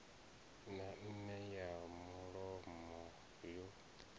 na meme ya mulomo yo